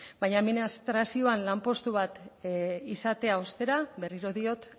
baina administrazioan lanpostu bat izatea ostera berriro diot